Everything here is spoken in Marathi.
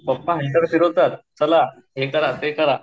पप्पा हंटर फिरवता चला हे करा ते करा.